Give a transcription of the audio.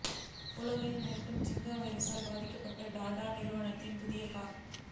உலகை மிரட்டும் ஜிக்கா வைரசால் பாதிக்கப்பட்ட டாடா நிறுவனத்தின் புதிய கார்